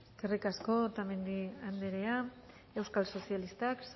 eskerrik asko otamendi andrea euskal sozialistak